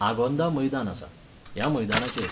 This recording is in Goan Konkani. आगोंदा मैदान आसा. ह्या मैदानाचेर